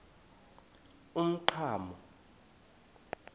umqhano